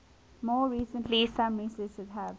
more recently some researchers have